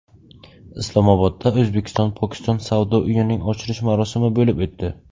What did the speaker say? Islomobodda O‘zbekistonPokiston savdo uyining ochilish marosimi bo‘lib o‘tdi.